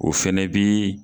O fɛnɛ bii